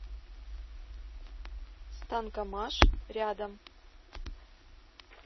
станкомаш рядом